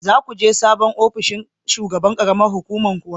Za ku je sabon ofinshin shugaban ƙaramar hukumar kuwa?